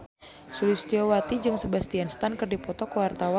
Sulistyowati jeung Sebastian Stan keur dipoto ku wartawan